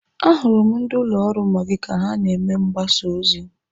Ahụrụ m ndị ụlọ ọrụ Maggi ka ha na-eme mgbasa ozi.